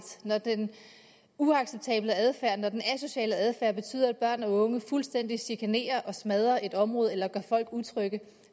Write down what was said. når den uacceptable adfærd når den asociale adfærd betyder at børn og unge fuldstændig chikanerer og smadrer et område eller gør folk utrygge